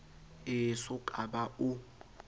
e so ka ba o